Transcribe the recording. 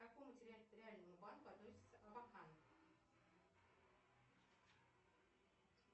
к какому территориальному банку относится абакан